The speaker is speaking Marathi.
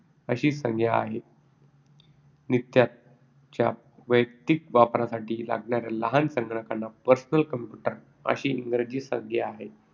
अशी संज्ञा आहे. नित्याच्या वैयक्तिक वापरासाठी लागणाऱ्या लहान संगणकांना personal computer अशी इंग्रजी संज्ञा आहे,